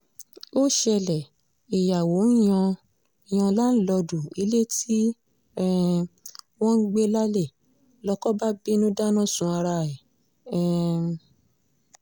ó ṣẹlẹ̀ ìyàwó ń yan yan láńlọ́ọ̀dù ilé tí um wọ́n ń gbé lálẹ́ lóko bá bínú dáná sun ara ẹ̀ um